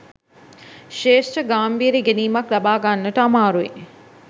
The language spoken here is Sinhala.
ශ්‍රේෂ්ඨ ගාම්භීර ඉගෙනීමක් ලබා ගන්නට අමාරුයි.